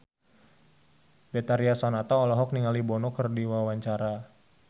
Betharia Sonata olohok ningali Bono keur diwawancara